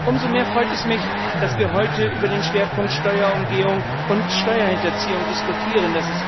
Umso mehr freut es mich, dass wir heute über den Schwerpunkt Steuerumgehung und Steuerhinterziehung diskutieren.